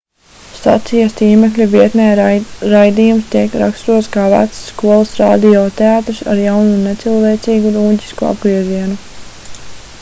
stacijas tīmekļa vietnē raidījums tiek raksturots kā vecs skolas radio teātris ar jaunu un necilvēcīgu nūģisku apgriezienu